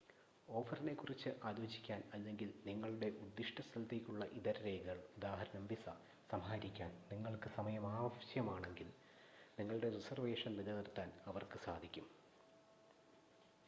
ഓഫറിനെക്കുറിച്ച് ആലോചിക്കാൻ അല്ലെങ്കിൽ നിങ്ങളുടെ ഉദ്ദിഷ്ട സ്ഥലത്തേക്കുള്ള ഇതര രേഖകൾ ഉദാ: വിസ സമാഹരിക്കാൻ നിങ്ങൾക്ക് സമയം ആവശ്യമാണെങ്കിൽ നിങ്ങളുടെ റിസർവേഷൻ നിലനിർത്താൻ അവർക്ക് സാധിക്കും